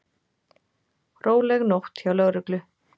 Róleg nótt hjá lögreglu